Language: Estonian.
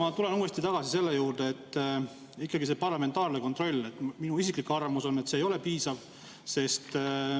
Aga, hea Leo, ma tulen tagasi selle juurde, et ikkagi see parlamentaarne kontroll – minu isiklik arvamus on see – ei ole piisav.